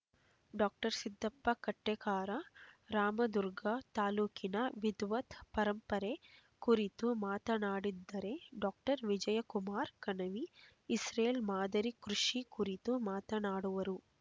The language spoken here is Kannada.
ಡಾಕ್ಟರ್ ಸಿದ್ಧಪ್ಪ ಕಟ್ಟೇಕಾರ ರಾಮದುರ್ಗ ತಾಲೂಕಿನ ವಿದ್ವತ್ ಪರಂಪರೆ ಕುರಿತು ಮಾತನಾಡಿದ್ದರೆ ಡಾಕ್ಟರ್ ವಿಜಯಕುಮಾರ ಕಣವಿ ಇಸ್ರೇಲ್ ಮಾದರಿ ಕೃಷಿ ಕುರಿತು ಮಾತನಾಡುವರು